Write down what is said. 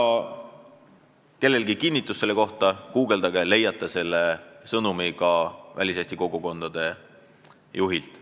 Kui kellelgi on vaja selle kinnitust, siis guugeldage, te leiate selle väliseesti kogukondade juhi sõnumi.